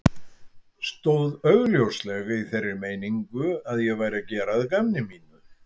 Stóð augljóslega í þeirri meiningu að ég væri að gera að gamni mínu.